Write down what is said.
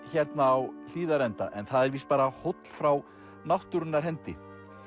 hérna á Hlíðarenda en það er víst bara hóll frá náttúrunnar hendi